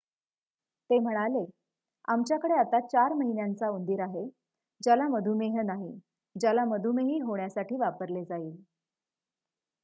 ते म्हणाले आमच्याकडे आता 4 महिन्यांचा उंदीर आहे ज्याला मधुमेह नाही ज्याला मधुमेही होण्यासाठी वापरले जाईल